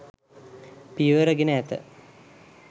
පියවර ගෙන ඇත